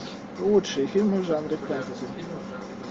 лучшие фильмы в жанре фэнтези